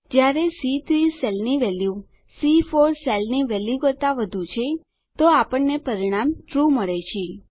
જયારે સી3 સેલની વેલ્યુ સી4 સેલની વેલ્યુ કરતા વધું છે તો આપણને પરિણામ ટ્રૂ મળે છે